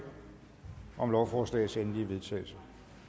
om lovforslagets endelige vedtagelse